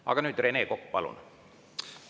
Aga nüüd, Rene Kokk, palun!